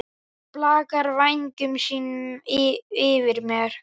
Blakar vængjum sínum yfir mér.